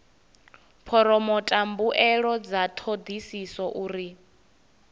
phoromotha mbuelo dza thodisiso uri